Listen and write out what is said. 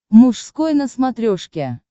мужской на смотрешке